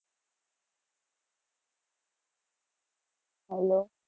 Hello